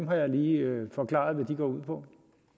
har lige forklaret hvad de går ud på